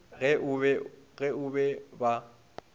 ge o be o ba